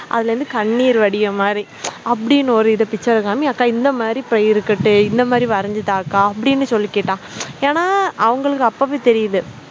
அதுல இருந்து கண்ணீர் வடியுற மாதிரி அப்படின்னு ஒரு இத picture காமி அக்கா இந்த மாதிரி இப்ப இருக்கட்டும் இந்த மாதிரி வரைஞ்சி தாக்கா அப்படின்னு சொல்லி கேட்டான் ஏன்னா அவங்களுக்கு அப்பவே தெரியுது